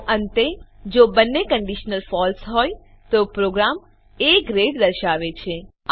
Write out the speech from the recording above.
તો અંતે જો બંને કંડીશનો ફળસે હોય તો પ્રોગ્રામ એ ગ્રેડ દર્શાવે છે